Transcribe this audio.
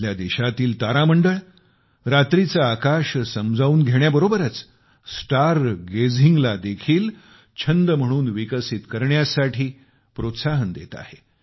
आपल्या देशातील तारामंडळ रात्रीचे आकाश समजावून घेण्याबरोबरच स्टार गेझिंगला देखील छंद म्हणून विकसित करण्यासाठी प्रोत्साहन देत आहे